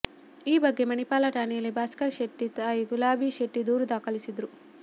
ಈ ಬಗ್ಗೆ ಮಣಿಪಾಲ ಠಾಣೆಯಲ್ಲಿ ಭಾಸ್ಕರ್ ಶೆಟ್ಟಿ ತಾಯಿ ಗುಲಾಬಿ ಶೆಡ್ತಿ ದೂರು ದಾಖಲಿಸಿದ್ದರು